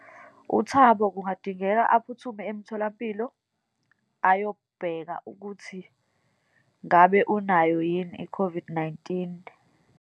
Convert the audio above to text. UThabo kungadingeka aphuthume emtholampilo ayobheka ukuthi ngabe unayo yini i-COVID-19.